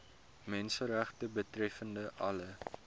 menseregte betreffende alle